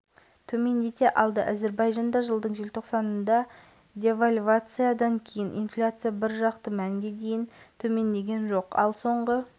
ақышевтың атап өтуінше өзге орталық банктерге инфляцияны мұндай айтарлықтай төмендету үшін ұзақ уақыт қажет болар еді